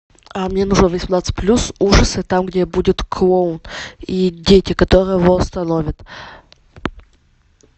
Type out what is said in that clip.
мне нужен восемнадцать плюс ужасы там где будет клоун и дети которые его остановят